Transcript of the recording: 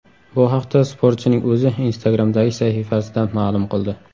Bu haqda sportchining o‘zi Instagram’dagi sahifasida ma’lum qildi .